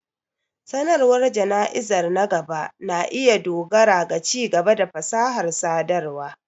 Sanarwar jana'izar na gaba na iya dogara ga ci-gaba da fasahar sadarwa.